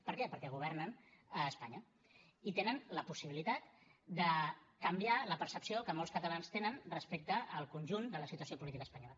per què perquè governen a espanya i tenen la possibilitat de canviar la percepció que molts catalans tenen respecte al conjunt de la situació política espanyola